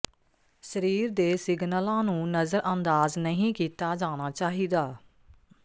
ਸਰੀਰ ਦੇ ਸਿਗਨਲਾਂ ਨੂੰ ਨਜ਼ਰਅੰਦਾਜ਼ ਨਹੀਂ ਕੀਤਾ ਜਾਣਾ ਚਾਹੀਦਾ